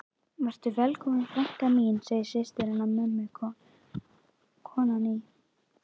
Vertu velkomin frænka mín, segir systir hennar mömmu, konan í